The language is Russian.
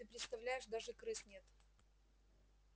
ты представляешь даже крыс нет